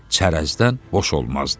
Çərəzdən boş olmazdı.